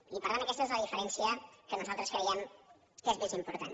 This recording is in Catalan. i per tant aquesta és la diferència que nosaltres creiem que és més important